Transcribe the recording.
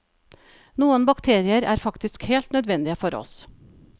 Noen bakterier er faktisk helt nødvendige for oss.